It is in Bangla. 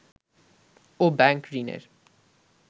ও ব্যাংক ঋণের